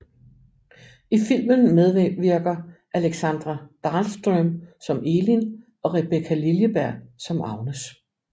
I filmen medvirker Alexandra Dahlström som Elin og Rebecka Liljeberg som Agnes